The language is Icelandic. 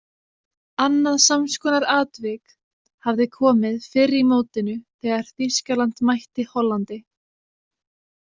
Annað samskonar atvik hafði komið fyrr í mótinu þegar Þýskaland mætti Hollandi.